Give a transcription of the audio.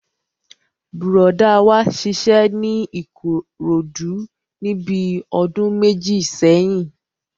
Bùrọ̀dá wa ṣiṣẹ́ ní Ìkòròdú níbi ọdún méjì sẹ́yìn